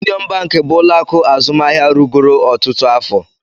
Union bank bụ ụlọ akụ azụmahịa rugoro ọtụtụ afọ